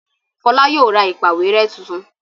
Fola yóò rà ìpàwérẹ́ títún